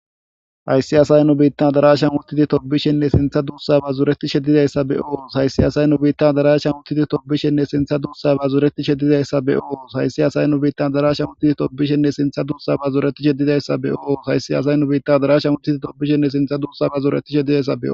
hayssiyasay nu biittan darashan uttidi tobbishenne sintha duussaba zureti sheddidayssa beo haysiyasay nu biittan darashan uttidi tobbishenne sintha duussaba zureti sheddidayssa be'o haysiyasay nu biittan darashan uttidi tobbishenne sintha duussaba zureti shedidayssa be'o hayssiyasay nu biittan darashan utidi tobishenne sintha dussa bazureti sheddidaysso.